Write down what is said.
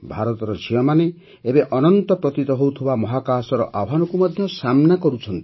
ଭାରତର ଝିଅମାନେ ଏବେ ଅନନ୍ତ ପ୍ରତୀତ ହେଉଥିବା ମହାକାଶର ଆହ୍ୱାନକୁ ମଧ୍ୟ ସାମ୍ନା କରୁଛନ୍ତି